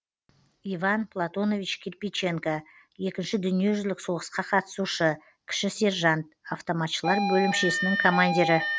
иван платонович кирпиченко екінші дүниежүзілік соғысқа қатысушы кіші сержант автоматшылар бөлімшесінің командирі